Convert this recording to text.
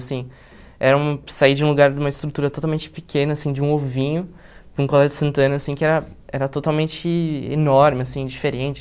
Sim, era um, saí de um lugar, de uma estrutura totalmente pequena assim, de um ovinho, para um colégio de Santana assim que era era totalmente enorme assim, diferente.